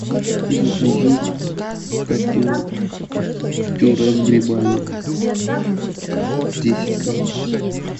закажи коту пюре с грибами десять грамм